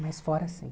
Mas fora, sim.